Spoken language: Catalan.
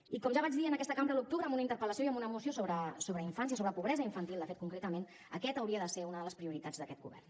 i com ja vaig dir en aquesta cambra a l’octubre amb una interpel·lació i amb una moció sobre infància sobre pobresa infantil de fet concretament aquesta hauria de ser una de les prioritats d’aquest govern